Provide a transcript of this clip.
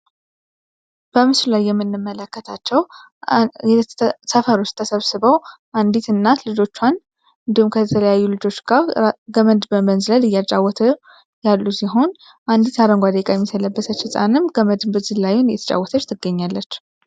የምንመለከታቸው ሰፈር ውስጥ ተሰብስበው አንዲት እናት ልጆቿን ዱከም ከተለያዩ ልጆች ጋር ገመድ በመዝለል እያጫወተው ያሉ ሲሆንም ገመድ የተጫወተች ትገኛለች ትገኛለች ።